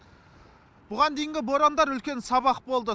бұған дейінгі борандар үлкен сабақ болды